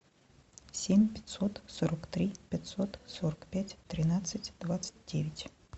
семь пятьсот сорок три пятьсот сорок пять тринадцать двадцать девять